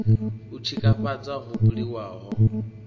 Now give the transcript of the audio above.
u tshikafhadza ho buliwaho ho